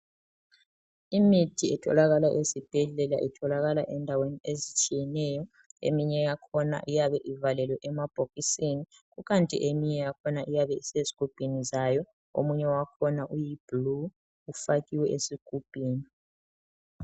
Imithi itholakala ezibhedlela itholakala ezindawo ezitshiyeneyo eminye yakhona iyabe ivalelwe emabhokisini. Kukanti eminye yakhona iyabe isezigubhini zayo. Omunye wakhona uyiblue ufakiwe esigubhini.